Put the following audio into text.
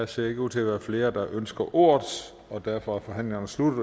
ser ikke ud til at være flere der ønsker ordet og derfor er forhandlingen sluttet